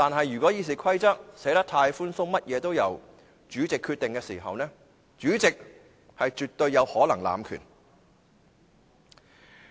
如果《議事規則》寫得太寬鬆，甚麼也是由主席決定，主席是絕對有可能濫權的。